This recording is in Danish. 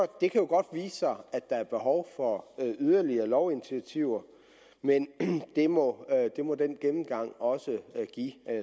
det kan jo godt vise sig at der er behov for yderligere lovinitiativer men det må det må den gennemgang også give